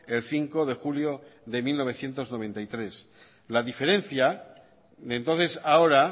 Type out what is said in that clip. el cinco de julio de mil novecientos noventa y tres la diferencia de entonces a ahora